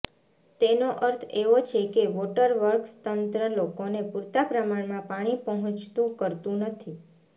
તેનો અર્થ એવો છે કે વોટર વર્કસ તંત્ર લોકોને પૂરતા પ્રમાણમાં પાણી પહોંચતું કરતું નથી